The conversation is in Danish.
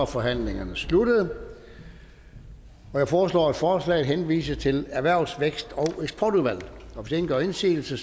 forhandlingerne sluttet jeg foreslår at forslaget henvises til erhvervs vækst og eksportudvalget hvis ingen gør indsigelse